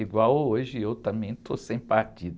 Igual hoje, eu também estou sem partido.